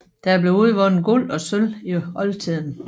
Der blev udvundet Guld og sølv i oldtiden